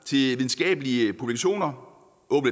videnskabelige publikationer